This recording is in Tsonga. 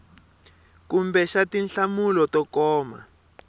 kumbe xa tinhlamulo to koma